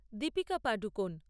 Deepika Padukone